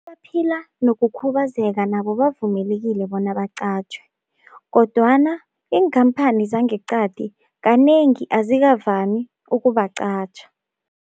Abaphila nokukhubazeka nabo bavumelekile bona baqatjhwe kodwana iinkhamphani zangeqadi kanengi azikavami ukubaqatjha.